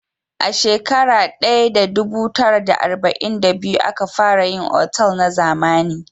A shekara daya da dubu tara da arba'in da biyu a ka fara yin otal na zamani